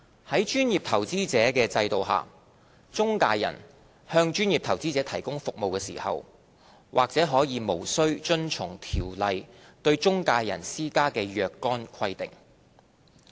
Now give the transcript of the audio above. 在專業投資者制度下，中介人向專業投資者提供服務時，或可無須遵從《條例》對中介人施加的若干規定。